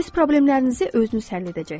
Öz problemlərinizi özünüz həll edəcəksiniz.